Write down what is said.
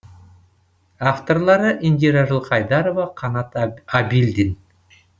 авторлары индира жылқайдарова қанат әбілдин